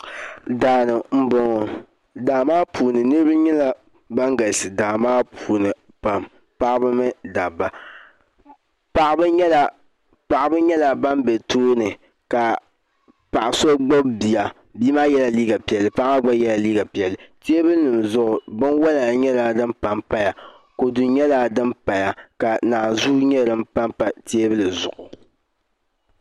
Daani n boŋo niraba nyɛla ban galisi daa maa puuni pam paɣaba mini dabba paɣaba nyɛla ban bɛ tooni ka paɣa so gbubi bia bia maa yɛla liiga paɣa maa gba yɛla liiga piɛlli teebuli zuɣu binwila nyɛla din panpaya naanzuu nyɛla din pa teebuli zuɣu kodu nyɛla din pa teebuli zuɣu